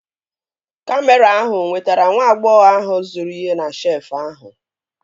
Kamịra ahụ nwetara nwa agbọghọ ahụ zụrụ ihe na shelfụ ahụ